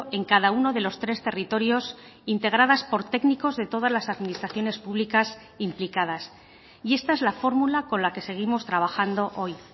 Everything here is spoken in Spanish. en cada uno de los tres territorios integradas por técnicos de todas las administraciones públicas implicadas y esta es la fórmula con la que seguimos trabajando hoy